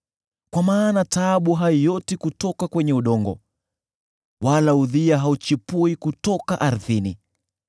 Kwa maana taabu haioti kutoka kwenye udongo, wala udhia hauchipui kutoka ardhini.